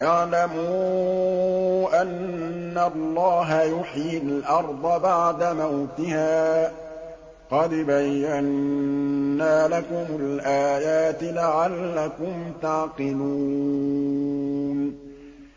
اعْلَمُوا أَنَّ اللَّهَ يُحْيِي الْأَرْضَ بَعْدَ مَوْتِهَا ۚ قَدْ بَيَّنَّا لَكُمُ الْآيَاتِ لَعَلَّكُمْ تَعْقِلُونَ